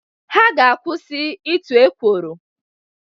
Ha ga-akwụsị ịtụ ekworo